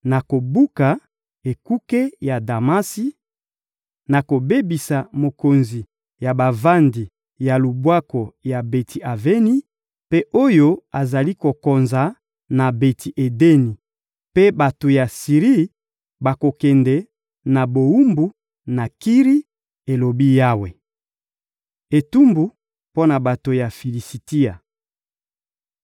Nakobuka ekuke ya Damasi, nakobebisa mokonzi ya bavandi ya Lubwaku ya Beti-Aveni, mpe oyo azali kokonza na Beti-Edeni; mpe bato ya Siri bakokende na bowumbu na Kiri,» elobi Yawe. Etumbu mpo na bato ya Filisitia